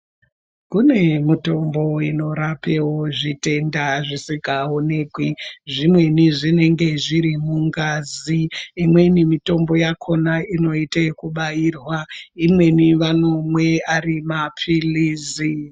Kune mitombo inorapewo zvitenda zvisikaonekwi zvimweni zvinenge zviri mungazi imweni mitombo yakona inoite ekubairwa imweni vanomwe ari mapilizi.